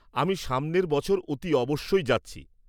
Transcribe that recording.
আমি সামনের বছর অতি অবশ্যই যাচ্ছি।